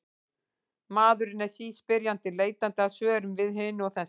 Maðurinn er síspyrjandi, leitandi að svörum við hinu og þessu.